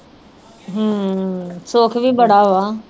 ਹਮ ਸੁੱਖ ਵੀ ਬੜਾ ਵਾ